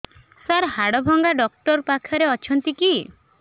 ସାର ହାଡଭଙ୍ଗା ଡକ୍ଟର ପାଖରେ ଅଛନ୍ତି କି